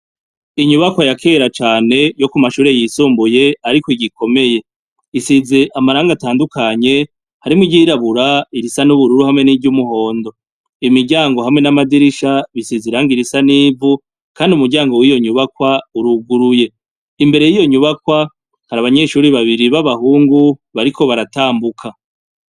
Inyubakwa yakera cane yo ku mashure yisumbuye, ariko igikomeye isize amaranga atandukanye, harimwo iryirabura, irisa n'ubururu hamwe n'iry'umuhondo .Imiryango hamwe n'amadirisha bisize irangi risa nivu kandi umuryango w'iyo nyubakwa uruguruye, imbere y'iyo nyubakwa kari abanyeshuri babiri b'abahungu bariko baratambuka.